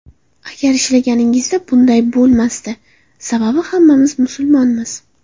Agar ishlaganida, bunday bo‘lmasdi, sababi hammamiz musulmonmiz.